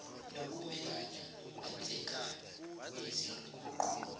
nokumelana nokwenzekayo nezinguquko